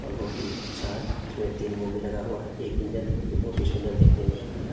और बहोत ही अच्छा है इसमें तीन वो भी लगा हुआ है एक इंजन है जो बहोत ही सुंदर देखने में लगता है।